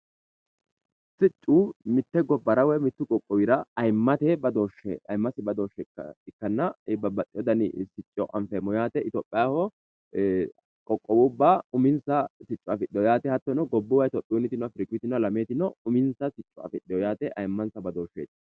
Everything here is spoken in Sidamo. Siccu mitte gobbara woy mittu qoqqowira ayimmate badooshshe ikkanna, babbaxxeeyo dani sicco anfeemmo yaate. Itophiyaho qoqqowubba uminsa sicco afidheyo yaate. Hattono itophiyunnitino, afiricunnitino, alameetino uminsa sicco afidhino yaate ayiimmansa badooshsheeti.